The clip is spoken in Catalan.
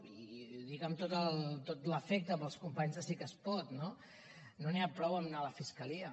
i ho dic amb tot l’afecte per als companys de sí que es pot no no n’hi ha prou amb el fet d’anar a la fiscalia